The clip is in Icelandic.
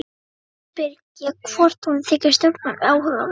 Undrandi spyr ég hvort honum þyki stjórnmál áhugaverð.